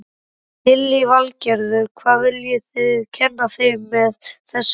Lillý Valgerður: Hvað viljið þið kenna þeim með þessu verkefni?